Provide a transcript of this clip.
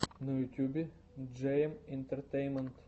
на ютубе джейэм интертеймент